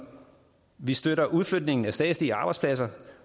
vi støtter udflytningen af statslige arbejdspladser